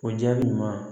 O jaabi ɲuman ye